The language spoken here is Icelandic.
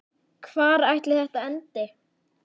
Hvar ætli þetta endi?